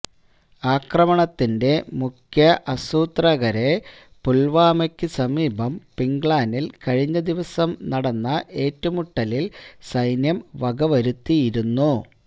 ആക്രമണത്തിന്റെ മുഖ്യ അസൂത്രകരെ പുൽവാമയ്ക്ക് സമീപം പിങ്ക്ളാനിൽ കഴിഞ്ഞ ദിവസം നടന്ന ഏറ്റുമുട്ടലിൽ സൈന്യം വകവരുത്തിയിരുന്നു